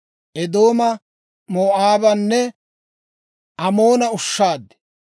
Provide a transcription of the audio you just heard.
Eedooma, Moo'aabanne Amoona ushshaad.